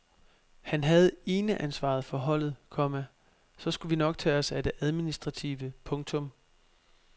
Han havde eneansvaret for holdet, komma så skulle vi nok tage os af det administrative. punktum